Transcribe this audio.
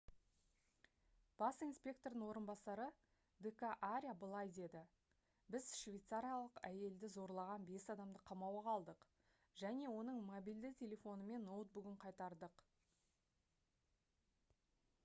бас инспектордың орынбасары д. к. аря былай деді: «біз швейцариялық әйелді зорлаған бес адамды қамауға алдық және оның мобильді телефоны мен ноутбугын қайтардық»